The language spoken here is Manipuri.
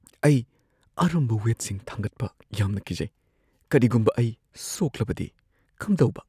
ꯑꯩ ꯑꯔꯨꯝꯕ ꯋꯦꯠꯁꯤꯡ ꯊꯥꯡꯒꯠꯄ ꯌꯥꯝꯅ ꯀꯤꯖꯩ꯫ ꯀꯔꯤꯒꯨꯝꯕ ꯑꯩ ꯁꯣꯛꯂꯕꯗꯤ ꯀꯝꯗꯧꯕ?